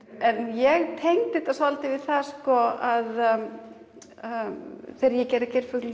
ég tengdi þetta svolítið við það að þegar ég gerði geirfuglinn